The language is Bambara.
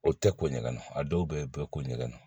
O tɛ ko ɲɛgɛn a dɔw bɛ bɛɛ ko ɲɛgɛn